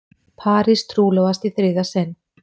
Paris trúlofast í þriðja sinn